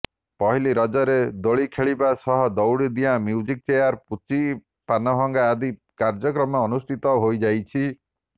ପହିଲି ରଜରେ ଦୋଳିଖେଳିବା ସହ ଦଉଡି ଡିଆଁ ମ୍ୟୁଜିକ୍ ଚେୟାର ପୁଚି ପାନଭଙ୍ଗା ଆଦି କାର୍ୟ୍ୟକ୍ରମ ଅନୁଷ୍ଠିତ ହୋଇଯାଇଛି